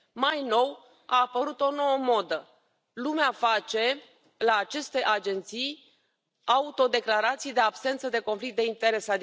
Mai nou, a apărut o nouă modă lumea face, la aceste agenții, autodeclarații de absență de conflict de interese.